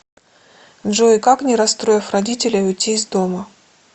джой как не расстроив родителей уйти из дома